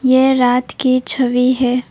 ये रात की छवि है।